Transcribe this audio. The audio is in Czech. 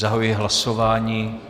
Zahajuji hlasování.